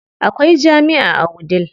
Akwai jami'a a Wudil.